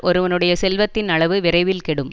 ஒருவனுடைய செல்வத்தின் அளவு விரைவில் கெடும்